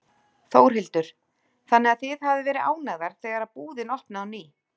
Þórhildur: Þannig að þið hafið verið ánægðar þegar búðin opnaði á ný?